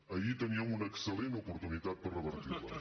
ahir teníem una excel·lent oportunitat per revertir les